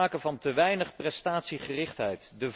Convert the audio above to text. er sprake van te weinig prestatiegerichtheid.